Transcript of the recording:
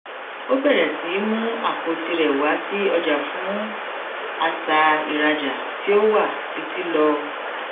ó bẹrẹ sí mú àpò tirẹ wá sí ọjà fún àṣà ìrajà tí ó wà títí lọ